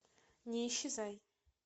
не исчезай